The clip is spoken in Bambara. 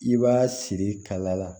I b'a siri kala la